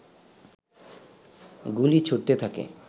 গুলি ছুড়তে থাকে